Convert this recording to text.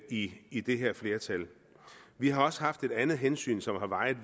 i i det her flertal vi har også haft et andet væsentligt hensyn som har vejet